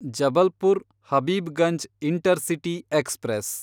Jabalpur Habibganj intercity express